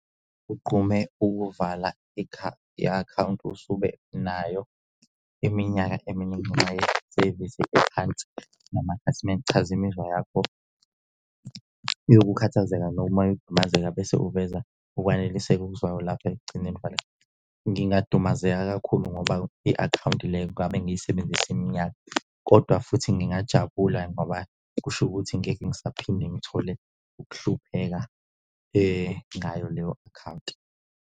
Ugqume ukuvala i-akhawunti usube nayo iminyaka eminingi ngenxa yesevisi ephansi namakhasimende. Chaza imizwa yakho yokukhathazeka noma yokudumazeka bese uveza ukwaneliseka okuzwayo lapha ekugcineni . Ngingadumazeka kakhulu ngoba i-akhawunti leyo ngabe ngiyisebenzise iminyaka kodwa futhi ngingajabula ngoba kusho ukuthi ngeke ngisaphinde ngithole ukuhlupheka ngayo leyo akhawunti.